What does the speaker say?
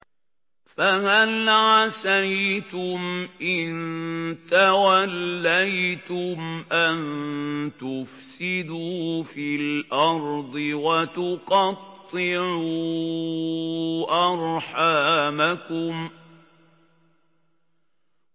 فَهَلْ عَسَيْتُمْ إِن تَوَلَّيْتُمْ أَن تُفْسِدُوا فِي الْأَرْضِ وَتُقَطِّعُوا أَرْحَامَكُمْ